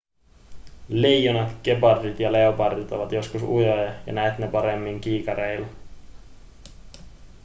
leijonat gepardit ja leopardit ovat joskus ujoja ja näet ne paremmin kiikareilla